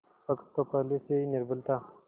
पक्ष तो पहले से ही निर्बल था